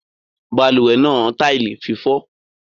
Balùwè náà tile fífó